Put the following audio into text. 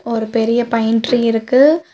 ஒரு பெரிய pine tree இருக்கு.